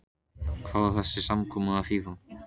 Hvað á þessi samkoma að þýða.